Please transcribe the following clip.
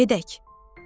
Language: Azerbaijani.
Gedək.